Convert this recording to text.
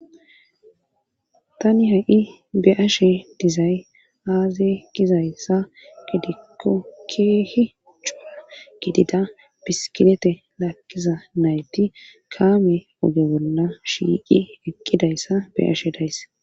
tani ha7i be ashe dizay aaze gizayssa gidikko keehi cua gidida bisilete laakkiza nayti kaame oge bolna shiiqi ekqidayssa be ashe days